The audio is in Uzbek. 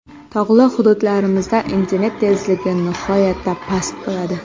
Tog‘li hududlarimizda internet tezligi nihoyatda past bo‘ladi.